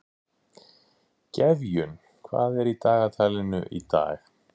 Gefjun, hvað er í dagatalinu í dag?